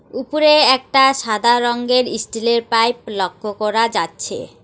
উপরে একটা সাদা রংয়ের ইস্টিলের পাইপ লক্ষ করা যাচ্ছে।